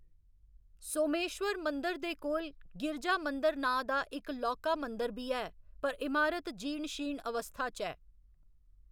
सोमेश्वर मंदर दे कोल, गिरिजा मंदर नांऽ दा इक लौह्‌‌‌का मंदर बी ऐ, पर इमारत जीर्ण शीर्ण अवस्था च ऐ।